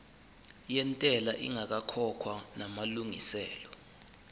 yentela ingakakhokhwa namalungiselo